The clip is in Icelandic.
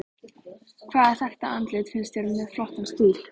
Hvaða þekkta andlit finnst þér með flottan stíl?